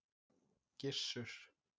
Gissur